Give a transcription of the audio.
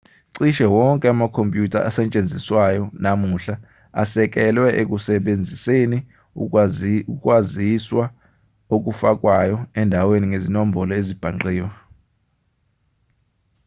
cishe wonke amakhompyutha asetshenziswayo namuhla asekelwe ekusebenziseni ukwaziswa okufakwayo endaweni ngezinombolo ezibhangqiwe